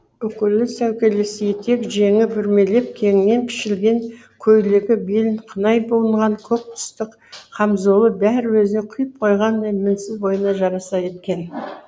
үкілі сәукелесі етек жеңі бүрмелеп кеңінен пішілген көйлегі белін қынай буынған көк түсті камзолы бәрі өзіне құйып қойғандай мінсіз бойына жараса кеткен